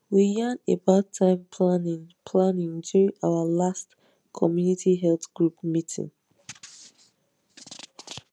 we yan about time planning planning during our last community health group meeting